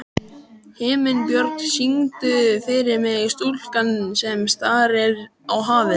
Himinbjörg, syngdu fyrir mig „Stúlkan sem starir á hafið“.